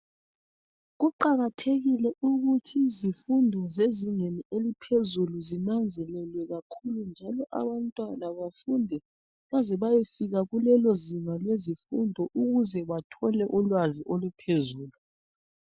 Kuqakathekile ukuthi izifundo zezingeni eliphezulu zinanzelelwe kakhulu njalo abantwana bafunde baze bayefika kulelozinga lezifundo ukuze bathole ulwazi oluphezulu.